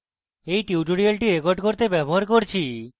এই tutorial record করতে আমি ব্যবহার করছি: